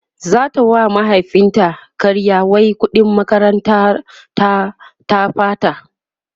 zata wa mahaifin ta ƙarya wai ƙuɗin makarantar ta ta ɓata